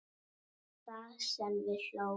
Og það sem við hlógum.